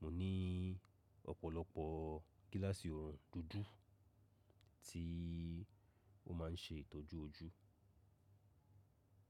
mo ní ọ̀pọ̀lọpọ̀ gíláàsì òòrùn dúdú tí ó máa ń ṣe ìtọ́jú ojú.